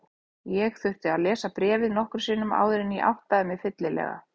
Ég þurfti að lesa bréfið nokkrum sinnum áður en ég áttaði mig fyllilega.